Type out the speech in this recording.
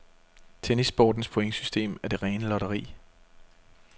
Tennissportens pointsystem er det rene lotteri.